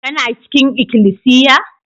Kana cikin ikilisiya?